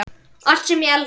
Allt sem ég elda.